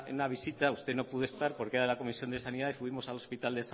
visita usted no pudo estar porque era de la comisión de sanidad y fuimos al hospital